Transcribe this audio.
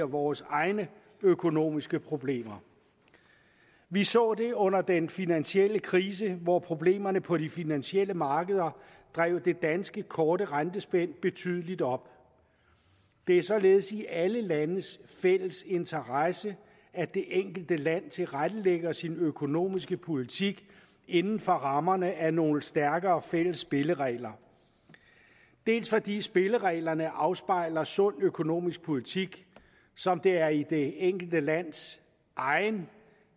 vores egne økonomiske problemer vi så det under den finansielle krise hvor problemerne på de finansielle markeder drev det danske korte rentespænd betydeligt op det er således i alle landes fælles interesse at det enkelte land tilrettelægger sin økonomiske politik inden for rammerne af nogle stærkere fælles spilleregler dels fordi spillereglerne afspejler sund økonomisk politik som det er i det enkelte lands egen